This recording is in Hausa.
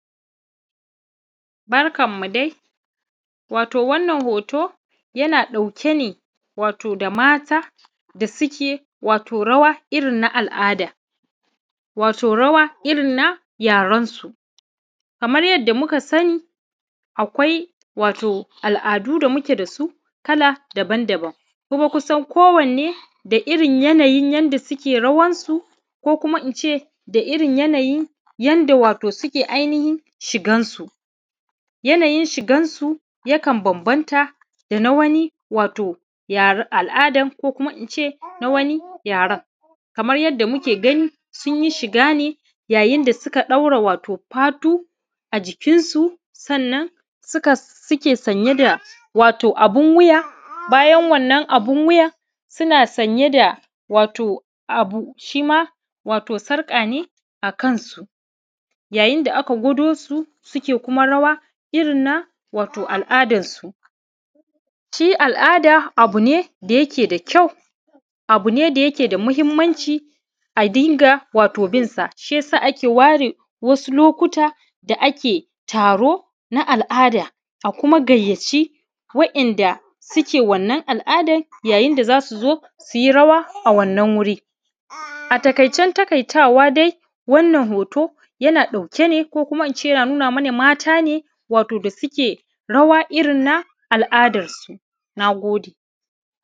Barkanmu dai wato wannan hoto yana ɗauke ne wato da mata da suke rawa irin na al’ada wato rawa irin na yarensu kamar yadda muka shina wato akwai al’ada da muke tare da su kala daban-daban ko ku san ko wane da irin yanayin yadda suke rawansu ko kuma in ce da yanayin wato yadda suke shigan su shigan su yakan bambanta da na wanni wato yaran al’ada ko kuma in ce na wani yaran kaman yadda muka ganin shiga ne yayin da suka ɗaura fatu a jikinsu ko kuma kasuwanci da suke sanye wato da abun wuyansa ne da wato abun wato sarƙa ne akan su yayin da aka gwado su suke kuma rawa wato irin na al’adansu shi al’ada abu ne da yake da ka yi abu ne da yake da mahinimancin a dinga wato yin sa shi yasa ake ware wasu lokuta da ba ake taro na al’ada ko ma gayyaci wato waɗanda suke wannan al’adan da inda zajujo su yi rawa a wannan wurin a taƙaice taƙaitawa dai wannan hoto yana ɗauke ne koina yana nuna mana wato mata ne da suke rawa irin na al’adansu na gode